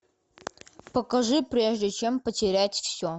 покажи прежде чем потерять все